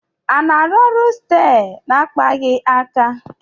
A na-arụ ọrụ steer na akpaghị aka